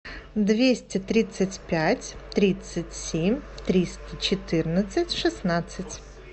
двести тридцать пять тридцать семь триста четырнадцать шестнадцать